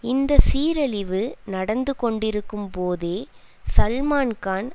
இந்த சீரழிவு நடந்து கொண்டிருக்கும்போதே சல்மான்கான்